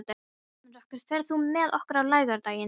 Ermenrekur, ferð þú með okkur á laugardaginn?